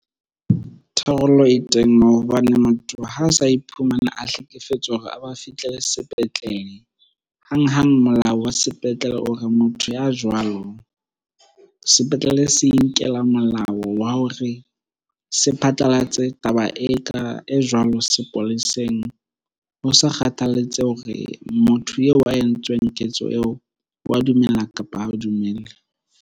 Tharollo e teng moo hobane motho ha a sa iphumana a hlekefetswa hore a ba fitlele sepetlele. Hang-hang molao wa sepetlele o re motho ya jwalo, sepetlele se inkela moo molao wa hore se phatlalatse taba e ka, e jwalo sepoleseng. Ho sa kgathalatsehe hore motho eo a entsweng ketso eo wa dumella, kapa ha dumele.